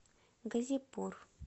газипур